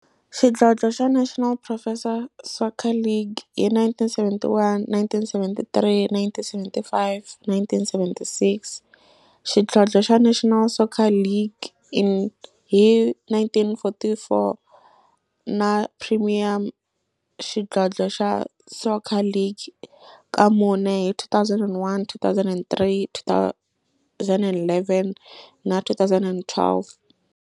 Xidlodlo xa National Professional Soccer League hi 1971, 1973, 1975 na 1976, xidlodlo xa National Soccer League hi 1944, na Premier Xidlodlo xa Soccer League ka mune, hi 2001, 2003, 2011 na 2012.